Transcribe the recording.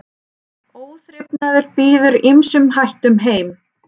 Óþrifnaður býður ýmsum hættum heim.